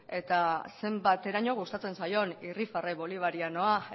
eta zenbateraino gustatzen zaion irribarre bolivarianoa